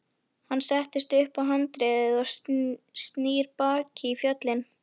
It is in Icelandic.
Hann sest upp á handriðið og snýr baki í fjöllin.